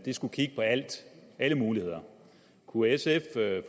skulle kigge på alt alle muligheder kunne sf